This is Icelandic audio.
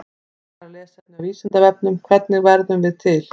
Frekara lesefni á Vísindavefnum: Hvernig verðum við til?